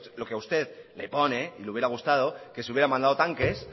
lo que a usted le pone y le hubiera gustado que se hubiera mandado tanques